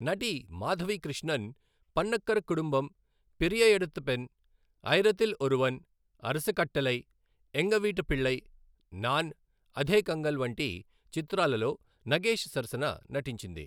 నటి మాధవి కృష్ణన్, పన్నకర కుడుంబమ్, పెరియ ఎడతు పెన్, ఆయిరతిల్ ఒరువన్, అరస కట్టలై, ఎంగ వీట్టు పిళ్ళై, నాన్, అధే కంగల్ వంటి చిత్రాలలో నగేష్ సరసన నటించింది.